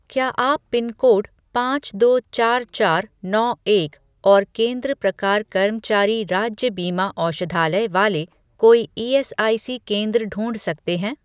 क्या आप पिनकोड पाँच दो चार चार नौ एक और केंद्र प्रकार कर्मचारी राज्य बीमा औषधालय वाले कोई ईएसआईसी. केंद्र ढूँढ सकते हैं?